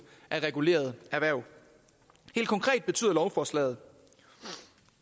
af regulerede erhverv helt konkret betyder lovforslaget